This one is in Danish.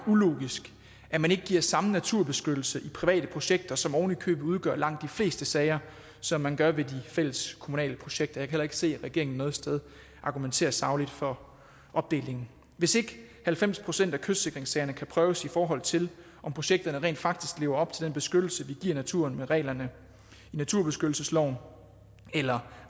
ulogisk at man ikke giver samme naturbeskyttelse i private projekter som ovenikøbet udgør langt de fleste sager som man gør ved de fælleskommunale projekter jeg kan heller ikke se at regeringen noget sted argumenterer sagligt for opdelingen hvis ikke halvfems procent af kystsikringssagerne kan prøves i forhold til om projekterne rent faktisk lever op til den beskyttelse vi giver naturen med reglerne i naturbeskyttelsesloven eller